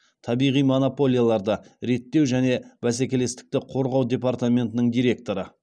табиғи монополияларды реттеу және бәсекелестікті қорғау департаментінің директоры